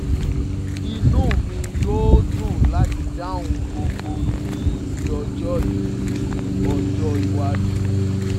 inu mi yoo dun lati dahun gbogbo ifiyesi ojo ifiyesi ojo iwaju